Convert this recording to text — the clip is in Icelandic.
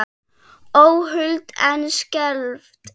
Óhult en skelfd.